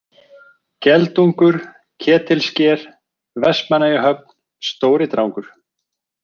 Geldungur, Ketilsker, Vestmannaeyjahöfn, Stóridrangur